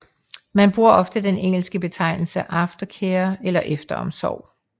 Man bruger ofte den engelske betegnelse aftercare eller efteromsorg